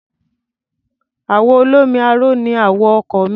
Àwọ̀ olómi aró ni àwọ̀ ọkọ̀ mi.